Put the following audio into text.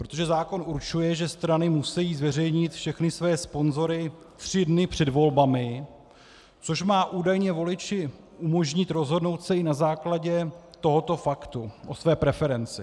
Protože zákon určuje, že strany musí zveřejnit všechny své sponzory tři dny před volbami, což má údajně voliči umožnit rozhodnout se i na základě tohoto faktu o své preferenci.